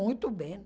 Muito bem.